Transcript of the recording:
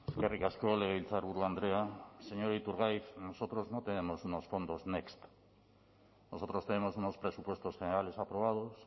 eskerrik asko legebiltzarburu andrea señor iturgaiz nosotros no tenemos unos fondos next nosotros tenemos unos presupuestos generales aprobados